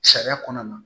Sariya kɔnɔna na